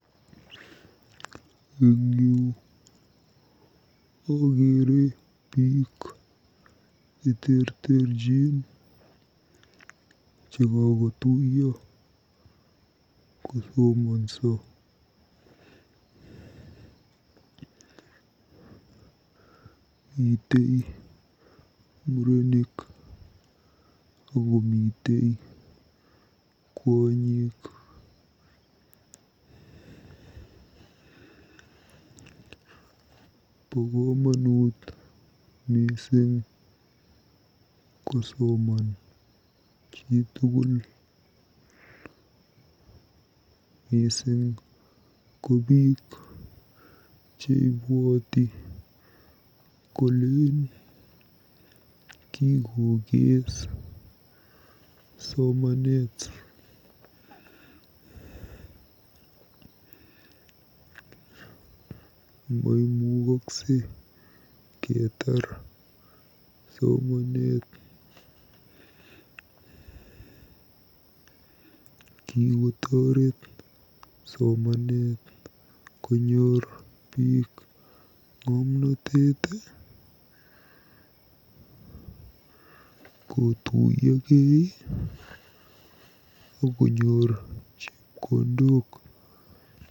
Eng yu akeere biik cheterterchi chekakotuiyo kosomonso. Mitei murenik akomitei kwonyik. Bo komonut mising kosoman chitukul mising ko biik cheibwoti kolen kikokees somanet. Maimukaksei ketaar somanet. KIkotoret somanet konyoor biik ng'omnotet, kotuiyokei, akonyoor chepkondok.